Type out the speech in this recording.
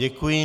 Děkuji.